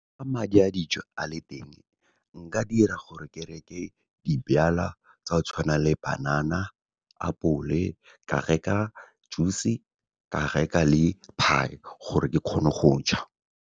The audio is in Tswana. Fa madi a dijo a le teng, nka dira gore ke reke tsa go tshwana le banana, apole, ka reka juice-e, ka reka le pie, gore ke kgone go ja.